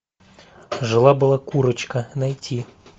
жила была курочка найти